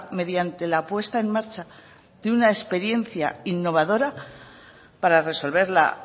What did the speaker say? mediante la puesta en marcha de una experiencia innovadora para resolver la